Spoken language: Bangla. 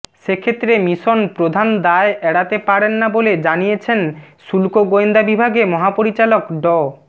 সেক্ষেত্রে মিশন প্রধান দায় এড়াতে পারেন না বলে জানিয়েছেন শুল্ক গোয়েন্দা বিভাগে মহাপরিচালক ড